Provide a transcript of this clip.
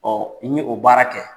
Ɔ n ye o baara kɛ.